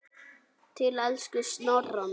Til elsku Snorra míns.